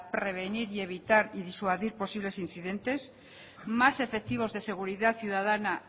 prevenir y evitar y disuadir posibles incidentes más efectivos de seguridad ciudadana